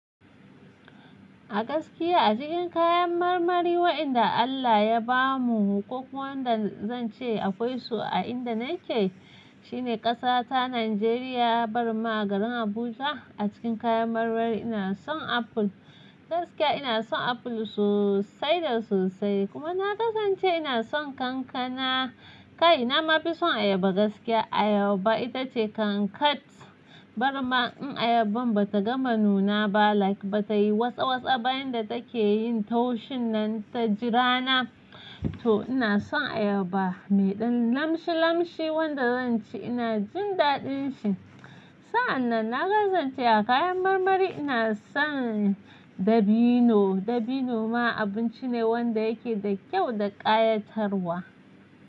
A gaskiya a cikin kayan marmari wa'inda Allah ya ba mu, ko kuma wanda zan ce akwai su a inda na ke, shine ƙasata Najeriya, barma garin Abuja. A cikin kayan marmari ina son apple, gaskiya ina son apple sosai da sosai. Kuma na kasance ina son kankana. Kai na ma fi son ayaba gaskiya. Ayaba itace kankat, barma in ayaban bata gama nuna ba like bata yi wasa wasa, ba'inda take yin taushin nan ta jira na. To ina son ayaba. Mai ɗan lamshi lamshi wanda zan ci ina jin daɗin shi. Sa'an nan na kasance a kayan marmari ina son dabino. Dabino ma abinci ne wanda yake da kyau da ƙayatarwa.